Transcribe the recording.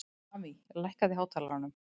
Amý, lækkaðu í hátalaranum.